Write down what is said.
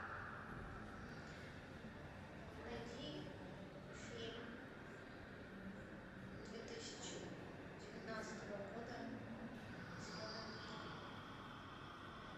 найди фильм две тысячи девятнадцатого года зеленая книга